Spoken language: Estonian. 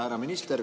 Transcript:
Härra minister!